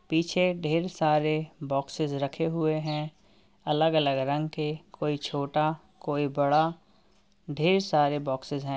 पीछे ढेर सरे बॉक्सेस रखे हुए हैं। अलग अलग रंग के कोई छोटा कोई बड़ा। ढेर सारे बॉक्सेस हैं।